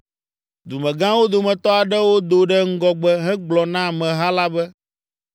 Dumegãwo dometɔ aɖewo do ɖe ŋgɔgbe hegblɔ na ameha la be,